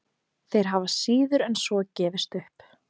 Þeir hafa síður en svo gefist upp.